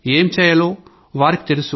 ఏంచేయాలో వాళ్లకి తెలుసు